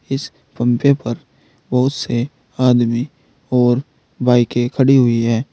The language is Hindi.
इस पम्पे पर बहुत से आदमी और बाईकें खड़ी हुई है।